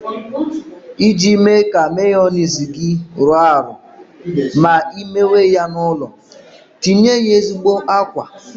Iji mee ka meyoniz gi rọọ arọ ma ị mewe ya n'ụlọ, tinye ya ezigbo àkwá.